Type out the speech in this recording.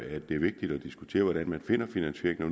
at det er vigtigt at diskutere hvordan man finder finansieringen